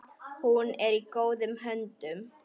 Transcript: Hún er í góðum höndum.